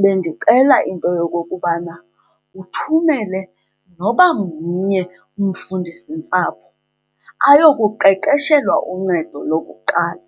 bendicela into yokokubana uthumele noba mnye umfundisintsapho ayokuqeqeshelwa uncedo lokuqala.